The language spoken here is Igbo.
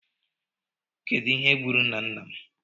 Kedụ ihe gburu nna nna m?